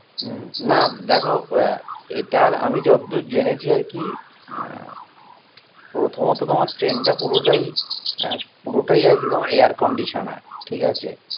উম না দেখো আহ এটার আমি যতদূর জেনেছি আরকি প্রথমত তোমার ট্রেইনটা পুরোটাই আহ পুরোটাই আরকি তোমার air conditioner ঠিক আছে